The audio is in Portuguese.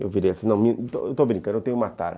Eu virei assim, estou brincando, eu tenho uma tara.